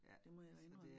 Det må jeg indrømme